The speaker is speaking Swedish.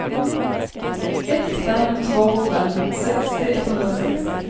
ett fem två fem sextio etthundrasextio